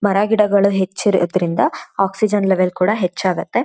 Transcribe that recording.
ಮರಗಿಡಗಳು ಹೆಚ್ಚು ಇರೋದರಿಂದ ಆಕ್ಸಿಜನ್ ಲೆವೆಲ್ ಕೊಡ ಹುಚ್ಚಾಗುತ್ತೆ.